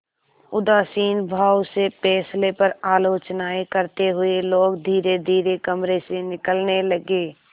उदासीन भाव से फैसले पर आलोचनाऍं करते हुए लोग धीरेधीरे कमरे से निकलने लगे